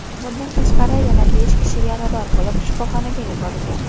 Bundan tashqari yana besh kishi yarador bo‘lib, shifoxonaga yuborilgan.